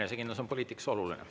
Enesekindlus on poliitikas oluline.